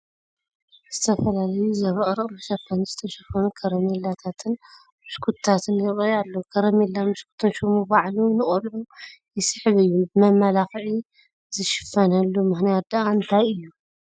ዝተፈላለዩ ዘብረቕርቕ መሸፈኒ ዝተሸፈኑ ከረሜላታትን ብሽኩትታትን ይርአዩ ኣለዉ፡፡ ከረሜላን ብሽኩትን ሽሙ ባዕሉ ንቆልዑ ይስሕብ እዩ፡፡ ብመመላክዒ ዝሽፈኑሉ ምኽንያት ድኣ እንታይ እዩ?